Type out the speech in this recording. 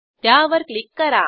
त्यावर क्लिक करा